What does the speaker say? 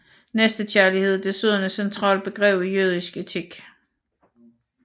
Næstekærlighed er desuden et centralt begreb i jødisk etik